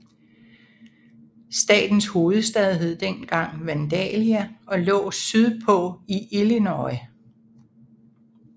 Statens hovedstad hed dengang Vandalia og lå sydpå i Illinois